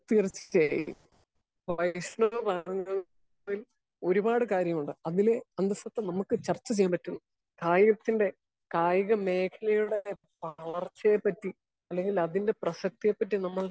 Speaker 1 തീർച്ചയായും വൈഷ്ണവ് പറയുന്നതിൽ ഒരുപാട് കാര്യങ്ങളുണ്ട് അതില് അന്തസുറ്റ നമുക്ക് ചർച്ച ചെയ്യാൻ പറ്റും. കായികത്തിന്റെ കായിക മേഘലയുടെ വളർച്ചയെ പറ്റി അല്ലെങ്കിൽ അതിന്റെ പ്രസക്തിയെ പറ്റി നമ്മൾ,